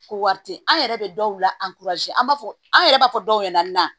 Ko wari tɛ yen an yɛrɛ bɛ dɔw la an b'a fɔ an yɛrɛ b'a fɔ dɔw ɲɛna